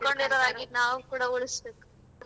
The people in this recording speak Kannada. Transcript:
ನಾವು ಕೂಡಾ ಉಳಿಸ್ಬೇಕು.